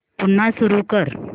पुन्हा सुरू कर